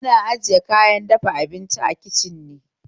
Ana ajiya kayan girki a kicin ne